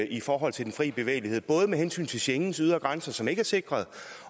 i forhold til den fri bevægelighed både med hensyn til schengens ydre grænser som ikke er sikret